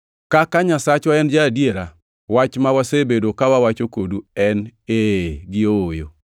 Kaka Nyasachwa en ja-adiera, wach ma wasebedo ka wawacho kodu ok en “Ee” gi “Ooyo.”